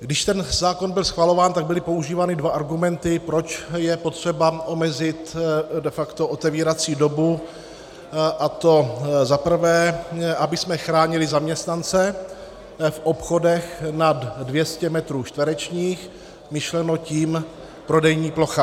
Když ten zákon byl schvalován, tak byly používány dva argumenty, proč je potřeba omezit de facto otevírací dobu, a to za prvé, abychom chránili zaměstnance v obchodech nad 200 metrů čtverečních, myšleno tím prodejní plocha.